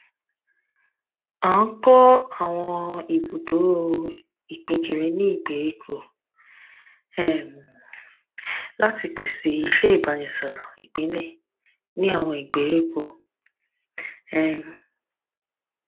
a n kọ awọn ibudo ipinkiri ni gberiko um lati pese iṣẹ ibaraẹnisọrọl ipilẹ ni awọn gberiko um